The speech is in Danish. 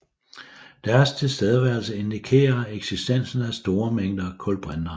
Deres tilstedeværelse indikerer eksistensen af store mængder kulbrinter